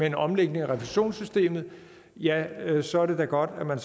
en omlægning af refusionssystemet ja så er det da godt at man